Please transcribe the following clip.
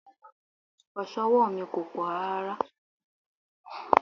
Oso ọwọ́ mi kò pọ̀ rárá.